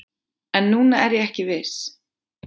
En núna er ég ekki viss